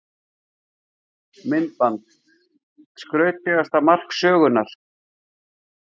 Myndband: Skrautlegasta mark sögunnar?